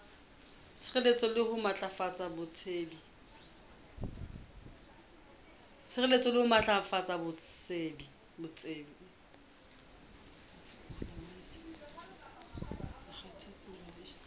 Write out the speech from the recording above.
sireletsa le ho matlafatsa botsebi